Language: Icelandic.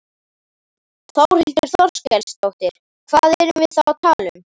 Þórhildur Þorkelsdóttir: Hvað erum við þá að tala um?